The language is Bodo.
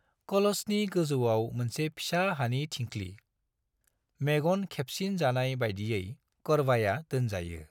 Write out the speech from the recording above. कलशनि गोजौआव मोनसे फिसा हानि थिंख्लि, मेगन खेबसिन जानाय बायदियै करवाया दोनजायो।